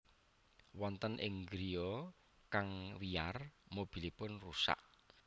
Wonten ing griya kang wiyar mobilipun rusak